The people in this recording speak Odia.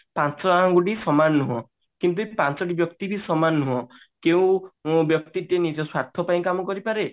ପାଞ୍ଚ ଆଙ୍ଗୁଠି ସମାନ ନୁହ କିନ୍ତୁ ପାଞ୍ଚଟି ବ୍ୟକ୍ତି ବି ସମାନ ନୁହେ କେଉଁ ବ୍ୟକ୍ତିବି ନିଜ ସ୍ଵାର୍ଥ ପାଇଁ କାମ କରିପାରେ